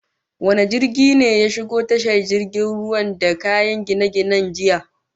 Wane jirgin ne ya shigo tashar jirgin ruwan da kayan gine-gine jiya?